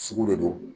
Sugu de don